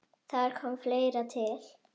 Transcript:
Þar kom fleira til.